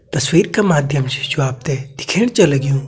तस्वीर के माध्यम से जो आप ते दिखेण छ लग्युं --